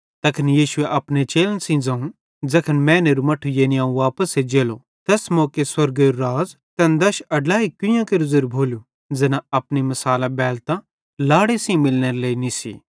तैखन यीशुए अपने चेलन सेइं ज़ोवं ज़ैखन मैनेरू मट्ठू यानी अवं वापस एज्जेलो तैस मौके स्वर्गेरू राज़ तैन दश अड्लैई कुइयां केरू ज़ेरू भोलू ज़ैना अपनी मिसालां बैलतां लाड़े सेइं मिलनेरे लेइ निस्सी